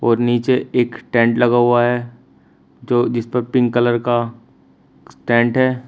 नीचे एक टेंट लगा हुआ है जो जिसपर पिंक कलर का टेंट है।